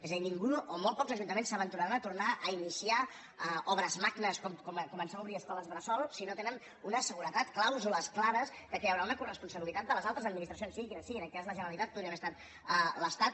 és a dir ningú o molt pocs ajuntaments s’aventuraran a tornar a iniciar obres magnes com començar a obrir escoles bressol si no tenen una seguretat clàusules clares que hi haurà una coresponsabilitat de les altres administracions siguin quines siguin en aquest cas la generalitat podria haver estat l’estat